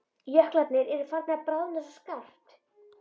Jöklarnir eru farnir að bráðna svo skarpt.